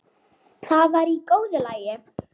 Það var í góðu lagi.